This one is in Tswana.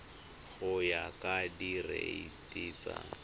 go ya ka direiti tsa